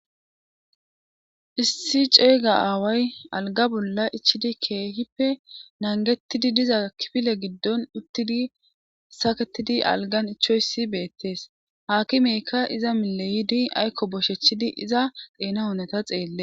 Issi ceeyga aaway alga bolla ichidi keehippe nangettidi diza kifile giddon uttidi saketidi algan ichoyssi beettees haakimeykka iza mileyidi aykko boshechidi iza xeena honeta xeelle.